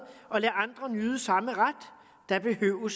og lade andre nyde samme ret da behøvede